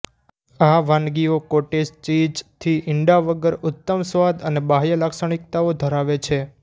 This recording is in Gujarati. આ વાનગીઓ કોટેજ ચીઝ થી ઇંડા વગર ઉત્તમ સ્વાદ અને બાહ્ય લાક્ષણિકતાઓ ધરાવે છે